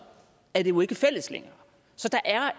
er det jo ikke fælles længere